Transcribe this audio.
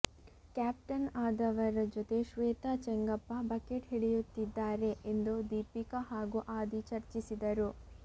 captain ಆದವರ ಜೊತೆ Shweta Chengappa bucket ಹಿಡಿಯುತ್ತಿದ್ದಾರೆ ಎಂದು ದೀಪಿಕಾ ಹಾಗೂ ಆದಿ ಚರ್ಚಿಸಿದರು